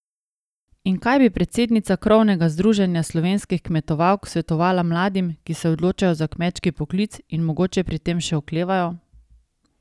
In kaj bi predsednica krovnega združenja slovenskih kmetovalk svetovala mladim, ki se odločajo za kmečki poklic in mogoče pri tem še oklevajo?